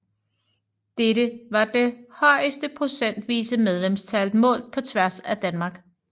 Dette var det højeste procentvise medlemstal målt på tværs af Danmark